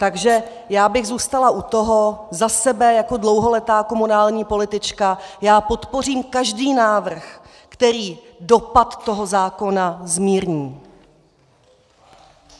Takže já bych zůstala u toho za sebe jako dlouholetá komunální politička, já podpořím každý návrh, který dopad toho zákona zmírní.